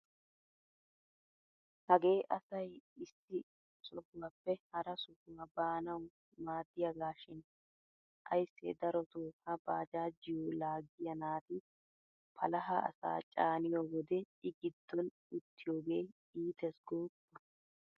Hagee asay issi sohuwappe hara sohuwa baanawu maaddiyagaashin ayssee darotoo ha baajaajiyo laaggiya naati palaha asaa caaniyo wode I giddon uttiyogee iitees gooppa!